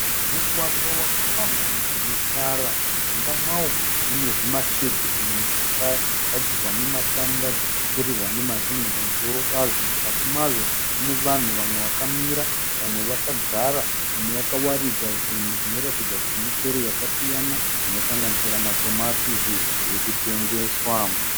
Mugwagwa wakapamhamha une tara. Mujinga mawo mune zvima shade zvimwe zvagadzirwa nematanda zvakapfurirwa nemazen'e pamusoro pazvo. Mukati mazvo mune vanhu vamwe vakamira vamwe vakagara vamwe vakawaridza zvinhu zvinoratidza kuti michero yakasiyana zvinosanganisira matomatisi zviri kutengeswa.